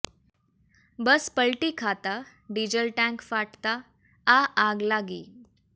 બસ પલટી ખાતાં diesel tank ફાટતા આ આગ લાગી